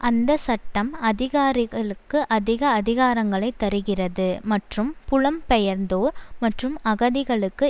அந்த சட்டம் அதிகாரிகளுக்கு அதிக அதிகாரங்களை தருகிறது மற்றும் புலம்பெயர்ந்தோர் மற்றும் அகதிகளுக்கு